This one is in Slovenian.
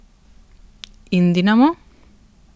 In Dinamo?